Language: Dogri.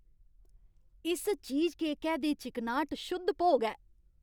इस चीजकेकै दी चिकनाह्ट शुद्ध भोग ऐ।